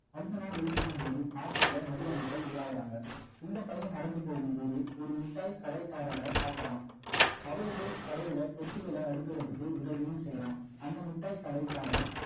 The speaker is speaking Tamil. அடுத்த நாள் எழுந்துக்கும் போது market ல நிறைய மக்கள் உலாவுறாங்க இந்த பையன் நடந்து போகும் போது ஒரு முட்டாள் கடைக்காரரை பார்க்கிறான் அவருக்கு கடையில பொட்டிகள அடுக்குறதுக்கு உதவியும்செய்றான் அந்த முட்டாள் கடைகாரர்